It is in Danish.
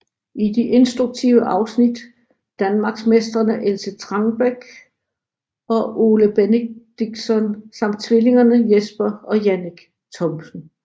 I de instruktive afsnit danmarksmestrene Else Trangbæk og Ole Benediktsson samt tvillingerne Jesper og Jannik Thomsen